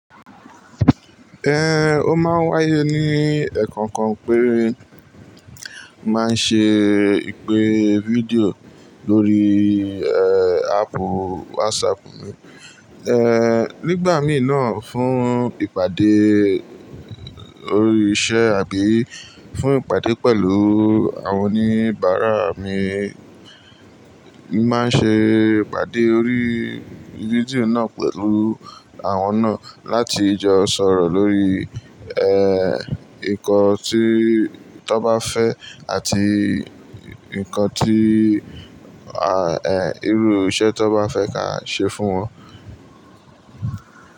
Eh, ó máa ń wá ayé ní ẹ̀ẹ̀kan kan pé, máa ń ṣe ìpè fídíò lórí, eh, app WhatsApp mi. Eh, nígbà mìíràn fún ìpàdé orí iṣẹ́ àbí fún ìpàdé pẹ̀lú àwọn oníbàárà mi, mi máa ń ṣe ìpàdé orí fídíò náà pẹ̀lú àwọn náà láti jọ sọ̀rọ̀ lórí, eh, nǹkan tí tọ́ bá fẹ́ àti nǹkan tí, eh, irú iṣẹ́ tó bá fẹ́ ká ṣe fún wọn.